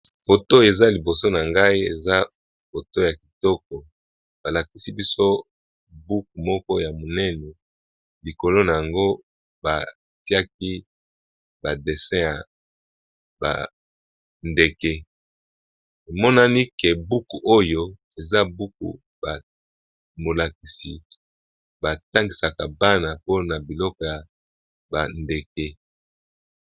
Photo eza liboso na ngai eza poto ya kitoko balakisi biso buku moko ya monene likolo na yango batiaki badessin ya bandeke emonani ke buku oyo eza buku bamolakisi batangisaka bana mpona biloko ya bandeke.